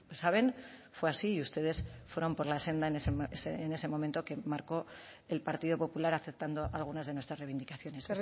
saben fue así y ustedes fueron por la senda en ese momento que marcó el partido popular aceptando algunas de nuestras reivindicaciones